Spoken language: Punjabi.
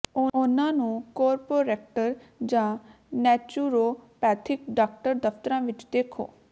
ਉਨ੍ਹਾਂ ਨੂੰ ਕੋਰਰੋਪੈਕਟਰ ਜਾਂ ਨੈਚੁਰੋਪੈਥਿਕ ਡਾਕਟਰ ਦਫਤਰਾਂ ਵਿਚ ਦੇਖੋ